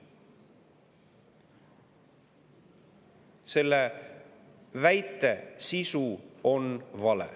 Selle väite sisu on vale.